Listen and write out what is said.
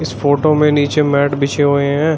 Photo में नीचे mat बीछे हुए हैं।